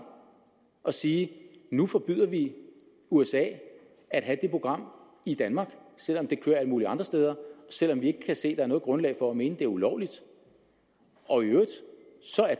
og sige nu forbyder vi usa at have det program i danmark selv om det kører alle mulige andre steder og selv om vi ikke kan se er noget grundlag for at mene at det er ulovligt og i øvrigt